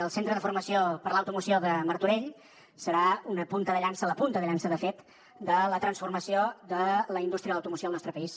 el centre de formació per a l’automoció de martorell serà una punta de llança la punta de llança de fet de la transformació de la indústria de l’automoció al nostre país